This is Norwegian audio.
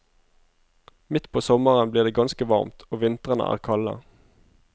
Midt på sommeren blir det ganske varmt, og vintrene er kalde.